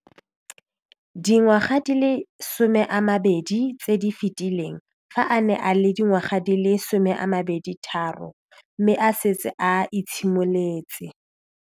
Dingwaga di le 10 tse di fetileng, fa a ne a le dingwaga di le 23 mme a setse a itshimoletse.